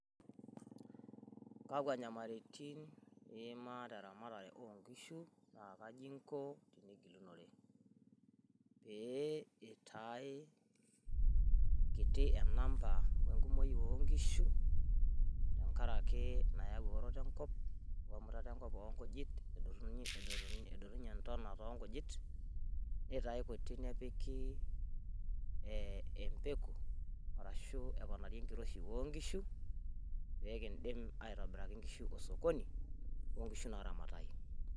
pee itae enamba kutik enkumoi oonkishu tengaraki nayau eewuoroto enkop wemutata oongujit nitae kutik embegu, arashu eponari enkiroshi oonkishu pee kidim aitobiraki inkishu osokoni loo nkishu naaramatayu.